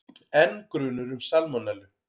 Enn grunur um salmonellu